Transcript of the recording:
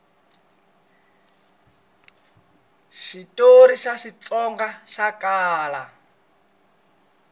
switori swa xitsonga swa kala